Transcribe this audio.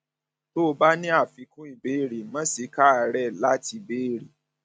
tó o bá ní àfikún ìbéèrè má ṣe káàárẹ láti béèrè